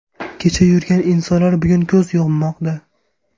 Kecha yurgan insonlar bugun ko‘z yummoqda.